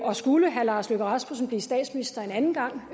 og skulle herre lars løkke rasmussen blive statsminister en anden gang